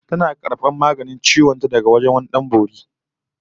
Tana karbar maganin ciwon ta daga wajen wani Dan Bori